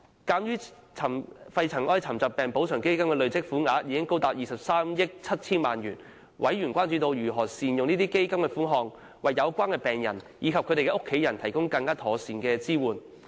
鑒於肺塵埃沉着病補償基金的累積款項高達23億 7,000 萬元，委員關注到，基金如何善用款項為有關病人和其家人提供更妥善的支援。